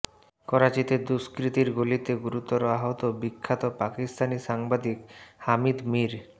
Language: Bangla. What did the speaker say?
করাচিতে দুষ্কৃতীর গুলিতে গুরুতর আহত বিখ্যাত পাকিস্তানি সাংবাদিক হামিদ মীর